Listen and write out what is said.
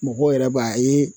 Mɔgɔw yɛrɛ b'a ye